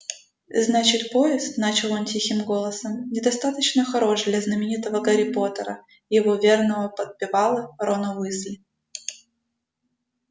значит поезд начал он тихим голосом недостаточно хорош для знаменитого гарри поттера и его верного подпевалы рона уизли